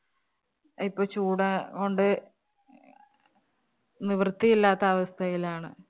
ഇപ്പം ചൂടാ കൊണ്ട് നിവൃത്തി ഇല്ലാത്ത അവസ്ഥയിലാണ്.